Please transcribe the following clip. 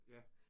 Ja